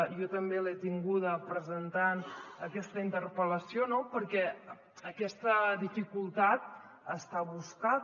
jo també l’he tinguda presentant aquesta interpel·lació no perquè aquesta dificultat està buscada